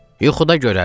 Yuxuda görərsiz.